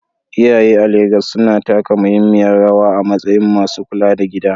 Iyaye a Legas suna taka muhimmiyar rawa a matsayin masu kula da gida.